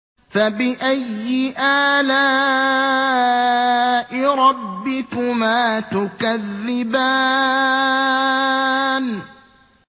فَبِأَيِّ آلَاءِ رَبِّكُمَا تُكَذِّبَانِ